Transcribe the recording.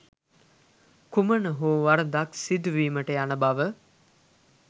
කුමන හෝ වරදක් සිදුවීමට යන බව.